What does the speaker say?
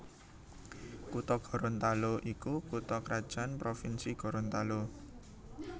Kutha Gorontalo iku kutha krajan provinsi Gorontalo